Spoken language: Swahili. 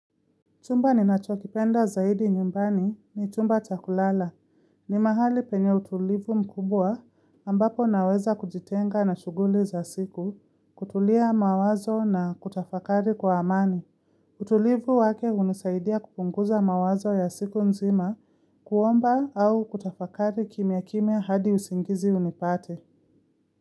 Chumba ni nacho kipenda zaidi nyumbani ni chumba cha kulala. Ni mahali penye utulivu mkubwa ambapo naweza kujitenga na shughuli za siku, kutulia mawazo na kutafakari kwa amani. Utulivu wake hunisaidia kupunguza mawazo ya siku nzima kuomba au kutafakari kimya kimya hadi usingizi unipate.